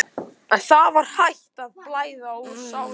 En það var hætt að blæða úr sárinu.